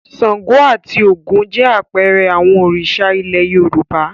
Ṣàngó àti Ògún jẹ́ àpẹẹrẹ àwọn Òrìṣà ilẹ̀ Yorùbá.